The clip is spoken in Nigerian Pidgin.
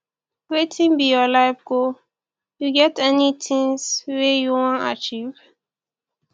wetin be your life goal you get any tings wey you wan achieve